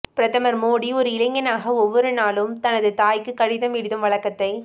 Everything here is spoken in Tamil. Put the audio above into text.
பிரதமர் மோடி ஒரு இளைஞனாக ஒவ்வொரு நாளும் தனது தாய்க்கு கடிதம் எழுதும் வழக்கத்தை